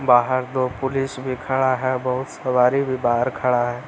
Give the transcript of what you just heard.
बाहर दो पुलिस भी खड़ा है बहुत सवारी भी बाहर खड़ा है।